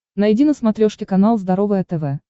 найди на смотрешке канал здоровое тв